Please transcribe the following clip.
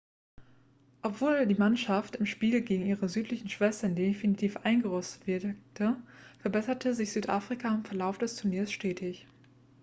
obwohl die mannschaft im spiel gegen ihre südlichen schwestern definitiv eingerostet wirkte verbesserte sich südafrika im verlauf des turniers stetig